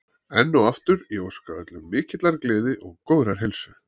Enn og aftur, ég óska öllum mikillar gleði og góðrar heilsu.